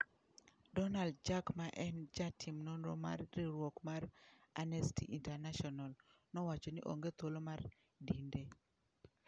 Donald Jack ma en jatim nonro mar riwruok mar Amnesty International nowacho ni onge thuolo mar dinde.